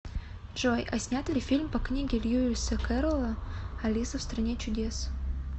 джой а снят ли фильм по книге льюиса керрола алиса в стране чудес